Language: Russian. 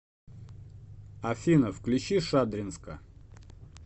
афина включи шадринска